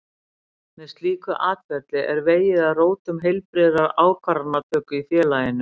Með slíku atferli er vegið að rótum heilbrigðrar ákvarðanatöku í félaginu.